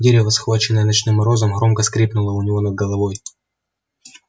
дерево схваченное ночным морозом громко скрипнуло у него над головой